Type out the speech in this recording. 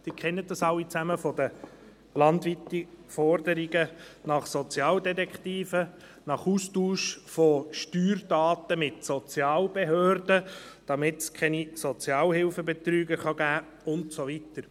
Sie kennen alle die landesweiten Forderungen nach Sozialdetektiven, nach Austausch von Steuerdaten mit den Sozialbehörden, damit es keine Sozialhilfebetrüger geben kann, und so weiter.